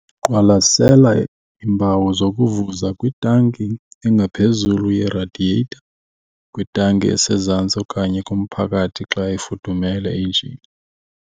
Qwalasela iimpawu zokuvuza kwitanki engaphezulu yeradiyetha, kwitanki esezantsi okanye kumphakathi xa ifudumele injini.